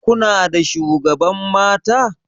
Kuna da shugaban mata?